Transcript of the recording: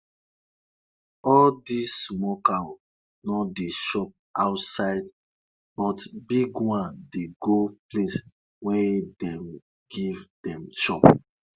baba dey um talk sey wind wey dey talk been guide am until em reach better soil to plant wen planting time reach